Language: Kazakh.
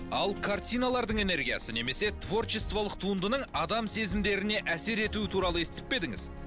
ал картиналардың энергиясы немесе творчестволық туындының адам сезімдеріне әсер етуі туралы естіп пе едіңіз